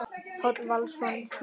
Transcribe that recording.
Páll Valsson þýddi.